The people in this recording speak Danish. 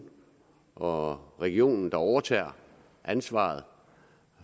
og regionen der overtager ansvaret